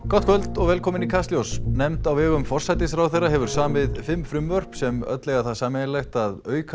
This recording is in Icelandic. gott kvöld og velkomin í Kastljós nefnd á vegum forsætisráðherra hefur samið fimm frumvörp sem öll eiga það sameiginlegt að auka